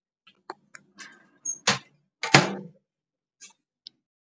Oarabile o thapilwe ke lephata la Gauteng.